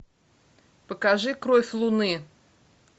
покажи кровь луны